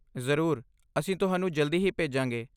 ਜ਼ਰੂਰ, ਅਸੀਂ ਤੁਹਾਨੂੰ ਜਲਦੀ ਹੀ ਭੇਜਾਂਗੇ।